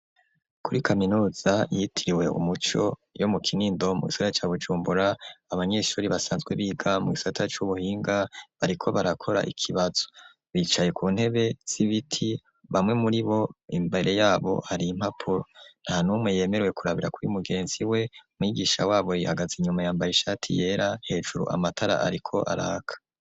Kuri kaminuza, yitiriwe umuco, yo mu Kinindo, mu gisagara ca Bujumbura, abanyeshuri, basanzwe biga, mu gisata c'ubuhinga, bariko barakora ikibazo; bicaye ku ntebe, z'ibiti; bamwe muri bo, imbere y'abo, hari impapuro; nta n'umwe yemerewe, kurabira kuri mugenzi we; mwigisha wabo, yahagaze inyuma, yambare ishati yera; hejuru, amatara ariko araka.